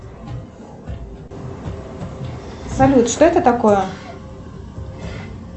салют что это такое